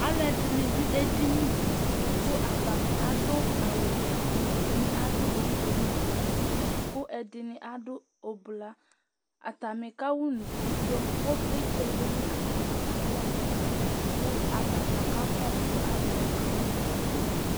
alo ɛdini do edini di kò atani adu awu wɛ ɛdini adu ofue no uti kò ɛdini adu ublɔ atani ka wa unukuvio ivlitsɛ lɛ no atami alɔ n'ɛfɛ kò atadza ka kɔsu alowa ka wa unukuvio